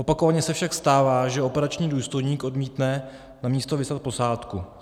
Opakovaně se však stává, že operační důstojník odmítne na místo vyslat posádku.